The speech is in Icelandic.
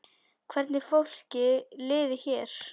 Hvernig fólki liði hér.